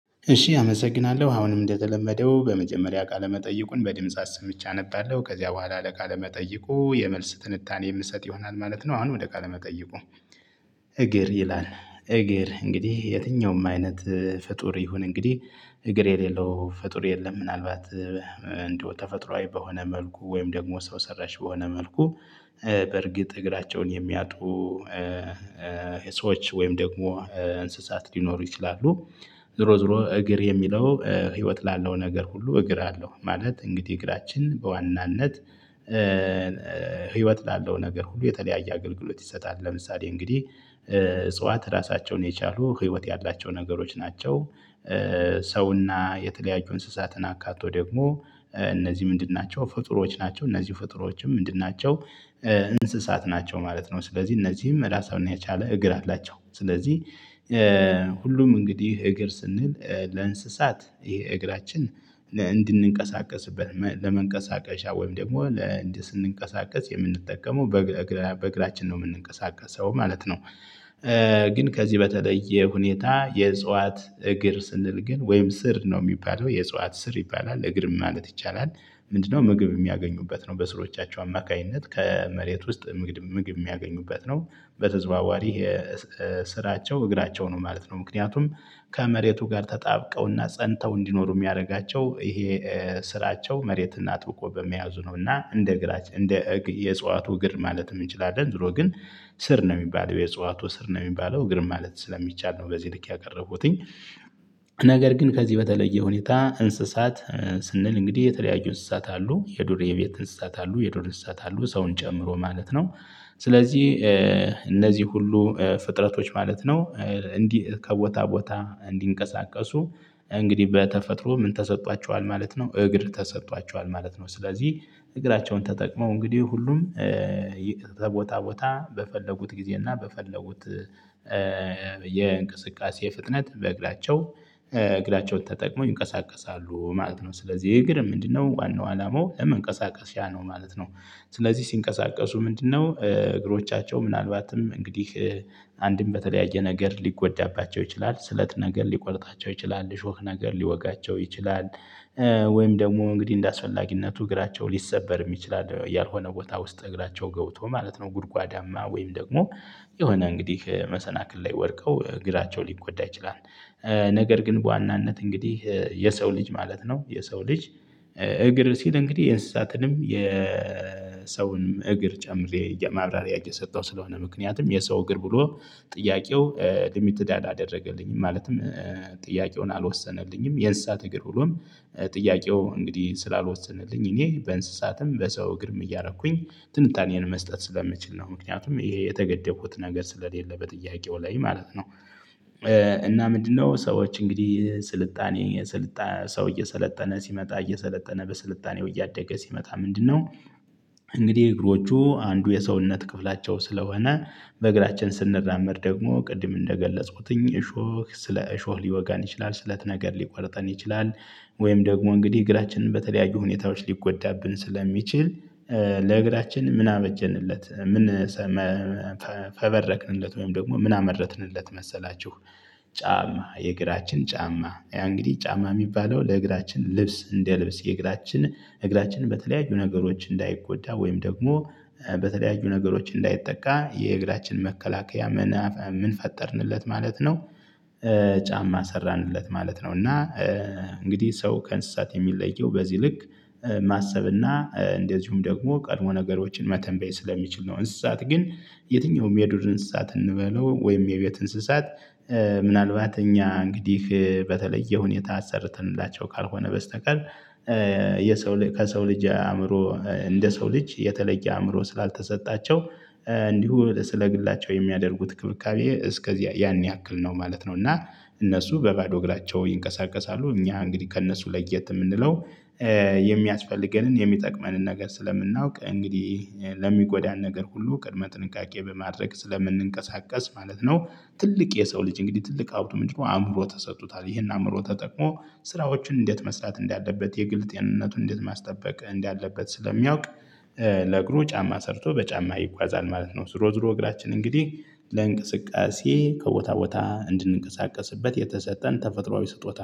እሺ አመሰግናለሁ አሁንም እንደተለመደው በመጀመሪያ ቃለ መጠይቁን በድምጽ አስምቼ አነባለሁ ከዚያ በኋላ ለቃለ መጠይቁ የመልስ ትንታኔ የምሰጥ ይሆናል ማለት ነው። አሁን ወደ ቃለ መጠይቁ እግር ይላል። እግር እንግዲህ የትኛውም አይነት ፍጡር ይሁን እንግዲህ እግር የሌለው ፍጡር የለም። ምናልባት እንደው ተፈጥሮአዊ በሆነ መልኩ ወይም ደግሞ ሰው ሰራሽ በሆነ መልኩ። በእርግጥ እግራቸውን የሚያጡ ሰዎች ወይም ደግሞ እንስሳት ሊኖሩ ይችላሉ። ዙሮ ዙሮ እግር የሚለው ህይወት ላለው ነገር ሁሉ እግር አለው ማለት እንግዲህ እግራችን በዋናነት። ህይወት ላለው ነገር ሁሉ የተለያየ አገልግሎት ይሰጣል። ለምሳሌ እንግዲህ እጽዋት ራሳቸውን የቻሉ ህይወት ያላቸው ነገሮች ናቸው። ሰውና የተለያዩ እንስሳትን አካቶ ደግሞ እነዚህ ምንድን ናቸው ፍጡሮች ናቸው እነዚህ ፍጡሮችም ምንድን ናቸው? እንስሳት ናቸው ማለት ነው ስለዚህ እነዚህም ራሳቸውን የቻለ እግር አላቸው። ስለዚህ ሁሉም እንግዲህ እግር ስንል ለእንስሳት ይሄ እግራችን እንድንቀሳቀስበት ለመንቀሳቀሻ ወይም ደግሞ ለእንዲህ ስንንቀሳቀስ የምንጠቀመው በእግራችን ነው የምንንቀሳቀሰው ማለት ነው። ግን ከዚህ በተለየ ሁኔታ የእጽዋት እግር ስንል ግን ወይም ስር ነው የሚባለው የእጽዋት ስር ይባላል እግርም ማለት ይቻላል። ምንድነው ምግብ የሚያገኙበት ነው በስሮቻቸው አማካኝነት ከመሬት ውስጥ ምግብ የሚያገኙበት ነው። በተዘዋዋሪ የስራቸው እግራቸው ነው ማለት ነው። ምክንያቱም ከመሬቱ ጋር ተጣብቀውና ፀንተው እንዲኖሩ የሚያደርጋቸው ይሄ ስራቸው መሬትን አጥብቆ በመያዙ ነውና እንደ እግራች እንደ እግ የእጽዋቱ እግር ማለት እንችላለን። ዙሮ ግን ስር ነው የሚባለው የእጽዋቱ ስር ነው የሚባለው እግርም ማለት ስለሚቻል ነው በዚህ ልክ ያቀረብኩትኝ። ነገር ግን ከዚህ በተለየ ሁኔታ እንስሳት ስንል እንግዲህ የተለያዩ እንስሳት አሉ የዱር ቤት እንስሳት አሉ የዱር እሳት አሉ ሰውን ጨምሮ ማለት ነው። ስለዚህ እነዚህ ሁሉ ፍጥረቶች ማለት ነው እንዲህ ከቦታ ቦታ እንዲንቀሳቀሱ እንግዲህ በተፈጥሮ ምን ተሰጥቷቸዋል ማለት ነው። እግር ተሰጥቷቸዋል ማለት ነው ስለዚህ እግራቸውን ተጠቅመው እንግዲህ ሁሉም ተቦታ ቦታ በፈለጉት ጊዜ እና በፈለጉት የእንቅስቃሴ ፍጥነት በእግራቸው እግራቸውን ተጠቅመው ይንቀሳቀሳሉ ማለት ነው። ስለዚህ ይሄ እግርም ምንድነው ዋናው አላማው ለመንቀሳቀስሽያ ያ ነው ማለት ነው። ስለዚህ ሲንቀሳቀሱ ምንድነው እግሮቻቸው ምናልባትም እንግዲህ አንድም በተለያየ ነገር ሊጎዳባቸው ይችላል ስለት ነገር ሊቆርጣቸው ይችላል ሾክ ነገር ሊወጋቸው ይችላል። ወይም ደግሞ እንግዲህ እንደአስፈላጊነቱ እግራቸው ሊሰበርም ይችላል ያልሆነ ቦታ ውስጥ እግራቸው ገብቶ ማለት ነው ጉድጓዳማ ወይም ደግሞ የሆነ እንግዲህ መሰናክል ላይ ወድቀው እግራቸው ሊጎዳ ይችላል። ነገር ግን በዋናነት እንግዲህ የሰው ልጅ ማለት ነው የሰው ልጅ። እግር ሲል እንግዲህ የእንስሳትንም የሰውንም እግር ጨምሬ የማብራሪያ እየሰጠው ስለሆነ ምክንያቱም የሰው እግር ብሎ ጥያቄው ሊሚትድ አደረገልኝ ማለትም ጥያቄውን አልወሰነልኝም የእንስሳት እግር ብሎም ጥያቄው እንግዲህ ስላልወሰነልኝ እኔ በእንስሳትም በሰው እግርም እያረኩኝ ትንታኔን መስጠት ስለምችል ነው። ምክንያቱም ይሄ የተገደፉት ነገር ስለሌለ በጥያቄው ላይ ማለት ነው። እና ምንድነው ሰዎች እንግዲህ ስልጣኔ ስልጣን ሰው እየሰለጠነ ሲመጣ እየሰለጠነ በስልጣኔው እያደገ ሲመጣ ምንድነው? እንግዲህ እግሮቹ አንዱ የሰውነት ክፍላቸው ስለሆነ በእግራችን ስንራመድ ደግሞ ቅድም እንደገለጽኩትኝ እሾህ ስለ እሾህ ሊወጋን ይችላል ስለት ነገር ሊቆርጠን ይችላል። ወይም ደግሞ እንግዲህ እግራችንን በተለያዩ ሁኔታዎች ሊጎዳብን ስለሚችል ለእግራችን ምን አበጀንለት ምን ሰ መፈ ፈበረክንለት ወይም ደግሞ ምን አመረትንለት መሰላችሁ? ጫማ የግራችን ጫማ ያ እንግዲህ ጫማ የሚባለው ለእግራችን ልብስ እንደልብስ የእግራችን እግራችን በተለያዩ ነገሮች እንዳይጎዳ ወይም ደግሞ በተለያዩ ነገሮች እንዳይጠቃ የእግራችን መከላከያ ምን ምን ፈጠርንለት ማለት ነው። ጫማ ሰራንለት ማለት ነው። እና እንግዲህ ሰው ከእንስሳት የሚለየው በዚህ ልክ ማሰብ እና እንደዚሁም ደግሞ ቀድሞ ነገሮችን መተንበይ ስለሚችል ነው። እንስሳት ግን የትኛውም የዱር እንስሳት እንበለው ወይም የቤት እንስሳት። ምናልባት እኛ እንግዲህ በተለየ ሁኔታ አሰርተንላቸው ካልሆነ በስተቀር። የሰው ከሰው ልጅ አእምሮ እንደ ሰው ልጅ የተለየ አእምሮ ስላልተሰጣቸው እንዲሁ ስለ ግላቸው የሚያደርጉት ክብካቤ እስከዚያ ያን ያክል ነው ማለት ነው። እና እነሱ በባዶ እግራቸው ይንቀሳቀሳሉ። እኛ እንግዲህ ከእነሱ ለየት የምንለው የሚያስፈልገንን የሚጠቅመንን ነገር ስለምናውቅ እንግዲህ ለሚጎዳን ነገር ሁሉ ቅድመ ጥንቃቄ በማድረግ ስለምንንቀሳቀስ ማለት ነው። ትልቅ የሰው ልጅ እንግዲህ ትልቅ ሀብቱ ምንድነው አእምሮ ተሰጥቶታል። ይሄን አእምሮ ተጠቅሞ ስራዎችን እንዴት መስራት እንዳለበት የግል ጤንነቱን እንዴት ማስጠበቅ እንዳለበት ስለሚያውቅ። ለእግሩ ጫማ ሰርቶ በጫማ ይጓዛል ማለት ነው። ዙሮ ዙሮ እግራችን እንግዲህ ለእንቅስቃሴ ከቦታ ቦታ እንድንቀሳቀስበት የተሰጠን ተፈጥሯዊ ስጦታ ነው